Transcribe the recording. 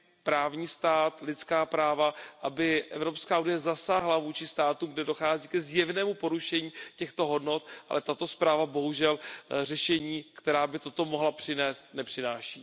právní stát, lidská práva, aby Evropská unie zasáhla vůči státům, kde dochází ke zjevnému porušení těchto hodnot, ale tato zpráva bohužel řešení, která by toto mohla přinést, nepřináší.